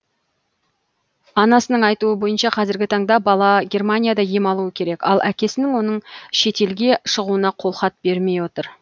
анасының айтуы бойынша қазіргі таңда бала германияда ем алуы керек ал әкесі оның шетелге шығуына қолхат бермей отыр